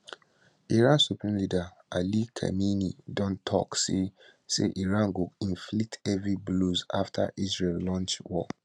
iran supreme leader ali khamenei don tok say say iran go inflict heavy blows afta israel launch war